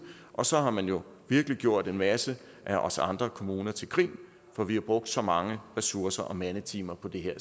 og så har man jo virkelig gjort en masse af os andre kommuner til grin for vi har brugt så mange ressourcer og mandetimer på det her